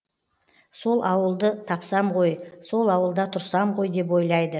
сол ауылды тапсам ғой сол ауылда тұрсам ғой деп ойлайды